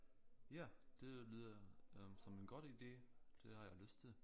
Ja det lyder øh som en godt ide det har jeg lyst til